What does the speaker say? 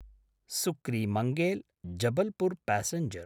सुक्रीमङ्गेल् Jabalpur passenger